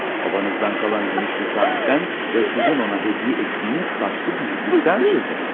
Babanızdan qalan gümüş bir saatdən və sizin ona hədiyyə etdiyiniz taşlı bir yüzükdən söz etdi.